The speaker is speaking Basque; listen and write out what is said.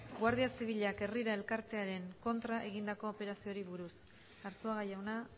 guardia zibilak herrira elkartearen kontra egindako operazioari buruz arzuaga jauna